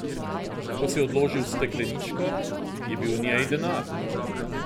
Ko si odložil stekleničko, je bil v njej denar.